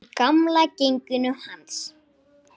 Þú gerir réttu lögin.